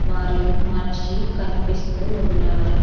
మరియు మనిషి కనిపిస్తూ ఉన్నారు.